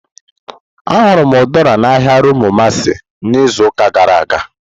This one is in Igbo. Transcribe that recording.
Ahụrụ m Udara na ahịa Rumuomasi n'izuụka gara aga.